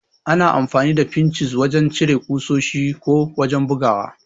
Ana amfani da Finchis ne wajan cire ƙusoshi ko wajan bugawa